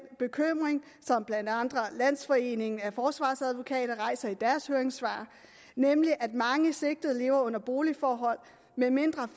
bekymring som blandt andre landsforeningen af forsvarsadvokater rejser i deres høringssvar nemlig at mange sigtede lever under boligforhold med mindre